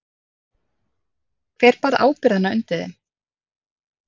Hver bar ábyrgðina undir þeim?